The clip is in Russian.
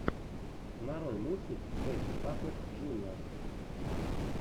нарой мультик бэтти паппэт джуниор